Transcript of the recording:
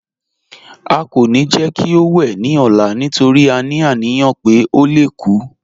À kọ́ ní jẹ́ kí ó wè ní ọ̀là nítorí à ní aniyàn pé ó lè kú